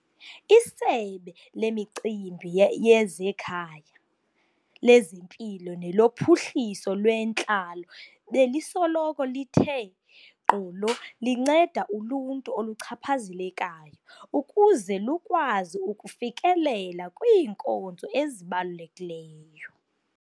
ISebe leMicimbi ye yezeKhaya, lezeMpilo neloPhuhliso lweNtlalo belisoloko lithe gqolo linceda uluntu oluchaphazelekayo ukuze lukwazi ukufikelela kwiinkonzo ezibalulekileyo.